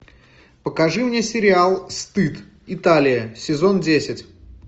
покажи мне сериал стыд италия сезон десять